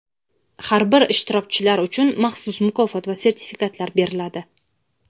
Har bir ishtirokchilar uchun maxsus mukofot va sertifikatlar beriladi.